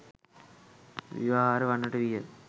ව්‍යවහාර වන්නට විය.